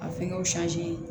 A fɛngɛw